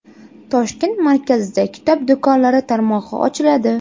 Toshkent markazida kitob do‘konlari tarmog‘i ochiladi.